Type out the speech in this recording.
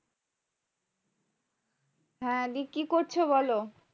হ্যাঁ দি, কি করছো বলো?